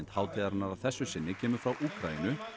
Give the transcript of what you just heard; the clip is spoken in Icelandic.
hátíðarinnar að þessu sinni kemur frá Úkraínu